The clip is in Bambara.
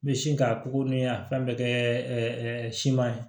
N bɛ sin k'a pogo ni a fɛn bɛɛ kɛ siman ye